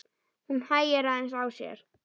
Hún hægir aðeins á sér.